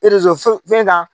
fɛn kan